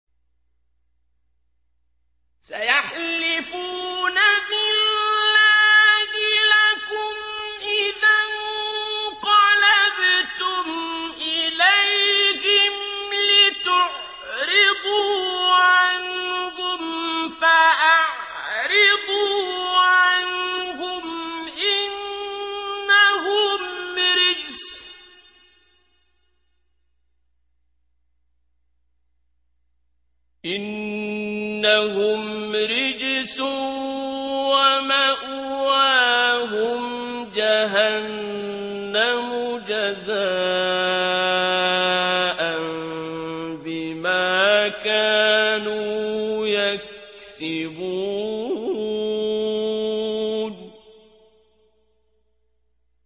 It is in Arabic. سَيَحْلِفُونَ بِاللَّهِ لَكُمْ إِذَا انقَلَبْتُمْ إِلَيْهِمْ لِتُعْرِضُوا عَنْهُمْ ۖ فَأَعْرِضُوا عَنْهُمْ ۖ إِنَّهُمْ رِجْسٌ ۖ وَمَأْوَاهُمْ جَهَنَّمُ جَزَاءً بِمَا كَانُوا يَكْسِبُونَ